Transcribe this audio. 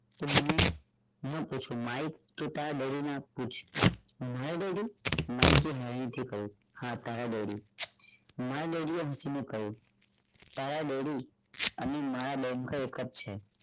તું મને માઇક તું તારા daddy ને પૂછ my daddy માઇક એ હળવેક થી કહ્યું હા તારા daddymy daddy એ હસીને કહ્યું તારા daddy અહી એક જ છે